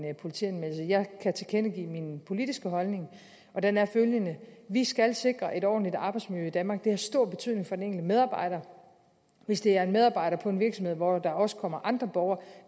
politianmeldelse jeg kan tilkendegive min politiske holdning og den er følgende vi skal sikre et ordentligt arbejdsmiljø i danmark det har stor betydning for den enkelte medarbejder hvis det er en medarbejder på en virksomhed hvor der også kommer andre borgere